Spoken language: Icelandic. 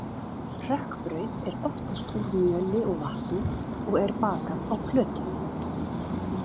Hrökkbrauð er oftast úr mjöli og vatni og er bakað á plötu.